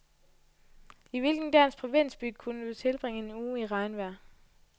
I hvilken dansk provinsby kunne du tilbringe en uge i regnvejr?